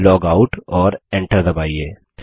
logout और Enter दबाइए